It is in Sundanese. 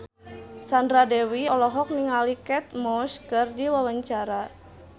Sandra Dewi olohok ningali Kate Moss keur diwawancara